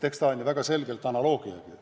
Eks see ole väga selgelt analoogne.